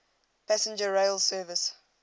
passenger rail service